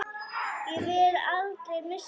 Ég vil aldrei missa þig.